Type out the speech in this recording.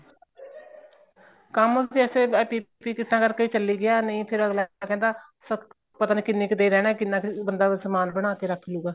ਕੰਮ ਵੈਸੇ PPE ਕਿੱਟਾ ਕਰਕੇ ਚੱਲੀ ਗਿਆ ਨਹੀਂ ਫ਼ੇਰ ਅਗਲਾ ਕਹਿੰਦਾ ਪਤਾ ਨਹੀਂ ਕਿੰਨੀ ਕ ਦੇਰ ਰਹਿਣਾ ਕਿੰਨਾਂ ਕ਼ ਬੰਦਾ ਸਮਾਨ ਬਣਾਕੇ ਰੱਖ ਲਉਗਾ